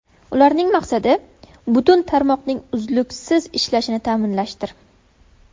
Ularning maqsadi: butun tarmoqning uzluksiz ishlashini ta’minlashdir.